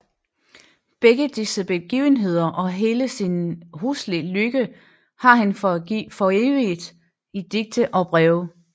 Begge disse begivenheder og hele sin hele huslige lykke har han foreviget i digte og breve